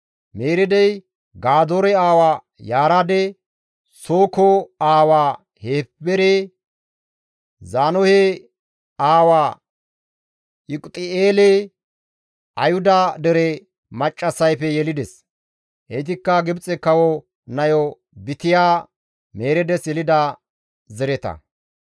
Mereedey Gadoore aawa Yaareede, Sooko aawa Heebere, Zaanohe aawa Yiquti7eele Ayhuda dere maccassayfe yelides; heytikka Gibxe kawo nayo Bitya Mereedes yelida zareta.